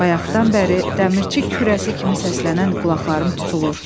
Bayaqdan bəri dəmirçi kürəsi kimi səslənən qulaqlarım tutulur.